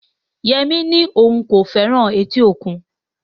Yemi ní òun kò fẹ́ràn etí òkun